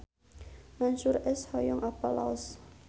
Mansyur S hoyong apal Laos